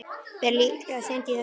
Ber líklega seint í þessum mánuði.